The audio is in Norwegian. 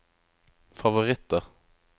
favoritter